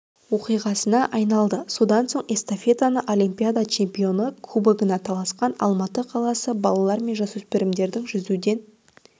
оқиғасына айналды содан соң эстафетаны олимпиада чемпионы кубогына таласқан алматы қаласы балалар мен жасөспірімдердің жүзуден